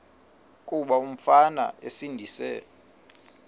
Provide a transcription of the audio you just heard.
kuba umfana esindise